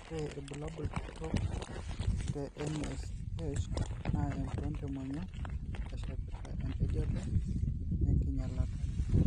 Ore orbulabuli kitok te NASH naa empiron temonyua, eshepita empejoto oenkinyialata.